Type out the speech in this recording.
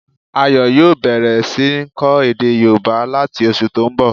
Ayo yòó bẹ̀rẹ̀ sí ń kọ́ èdè yóòbá láti oṣù tó n bọ̀